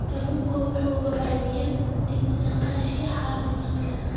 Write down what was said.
Kalluunku waxa uu caawiyaa dhimista kharashka caafimaadka.